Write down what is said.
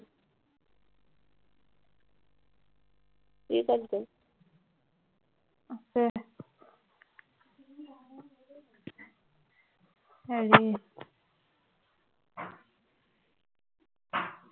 ই কত গল